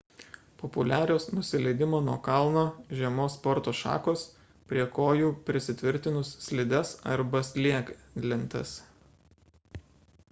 populiarios nusileidimo nuo kalno žiemos sporto šakos prie kojų prisitvirtinus slides arba snieglentes